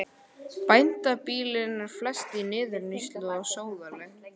Bændabýlin eru flest í niðurníðslu og sóðaleg.